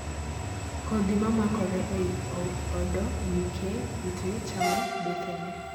kodhi mamakore eiy opdo nikeh kute chamo bethene.